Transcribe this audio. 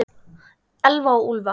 Elfa og Úlfar.